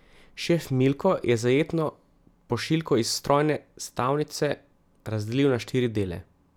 Šef Milko je zajetno pošiljko iz strojne stavnice razdelil na štiri dele.